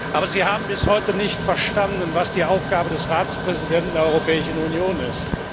Aber Sie haben bis heute nicht verstanden, was die Aufgabe des Ratspräsidenten der Europäischen Union ist!